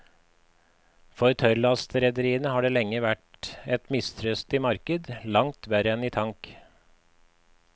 For tørrlastrederiene har det lenge vært et mistrøstig marked, langt verre enn i tank.